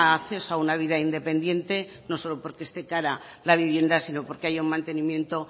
acceso a una vida independiente no solo porque este cara la vivienda sino porque hay un mantenimiento